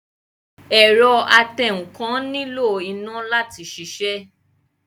Ẹ̀rọ atẹǹkan nílò iná láti sisẹ́